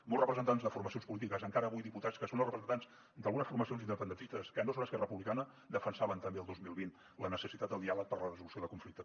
molts representants de formacions polítiques encara avui diputats que són representants d’algunes formacions independentistes que no són esquerra republicana defensaven també el dos mil vint la necessitat del diàleg per a la resolució del conflicte